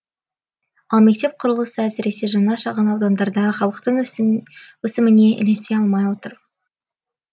ал мектеп құрылысы әсіресе жаңа шағын аудандарда халықтың өсіміне ілесе алмай отыр